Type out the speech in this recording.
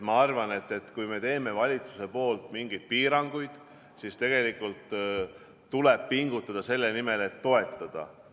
Ma arvan, et kui me teeme valitsuse poolt mingeid piiranguid, siis tuleb tegelikult pingutada selle nimel, et toetada.